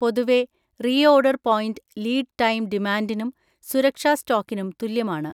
പൊതുവേ reorder point lead time ഡിമാൻഡിനും സുരക്ഷാ സ്റ്റോക്കിനും തുല്യമാണ്.